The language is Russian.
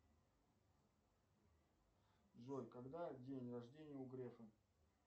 джой когда день рождения у грефа